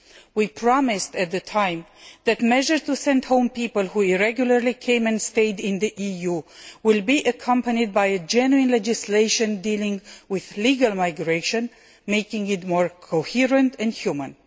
We promised at the time that measures to send home people who came and stayed irregularly in the EU would be accompanied by genuine legislation dealing with legal migration, making it more coherent and human.